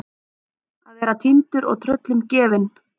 Að vera týndur og tröllum gefin